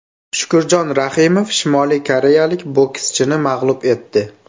Shukurjon Rahimov Shimoliy koreyalik bokschini mag‘lub etdi .